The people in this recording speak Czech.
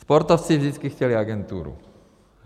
Sportovci vždycky chtěli agenturu.